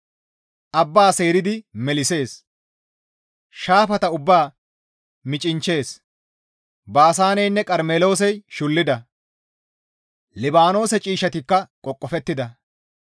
Abba seeridi melissees; Shaafata ubbaa micinchchees. Baasaaneynne Qarmeloosey shullida. Libaanoose ciishshatikka qoqofettida.